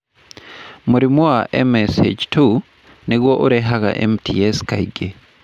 Mũri wa MSH2 nĩguo ũrehaga MTS kaingĩ.